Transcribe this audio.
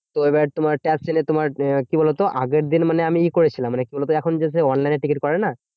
তো এবার তোমার taxi নিয়ে তোমার আহ কি বলতো? আগের দিন মানে ই করেছিলাম, মানে কি বলতো? এখন যে সেই online এ টিকিট করে না?